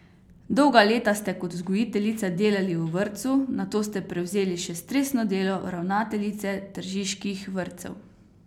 Dolga leta ste kot vzgojiteljica delali v vrtcu, nato ste prevzeli še stresno delo ravnateljice tržiških vrtcev.